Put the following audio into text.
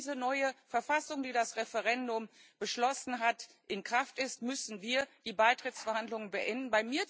Sobald diese neue Verfassung, die das Referendum beschlossen hat, in Kraft ist, müssen wir die Beitrittsverhandlungen beenden.